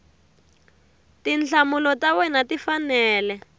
tinhlamulo ta wena ti fanele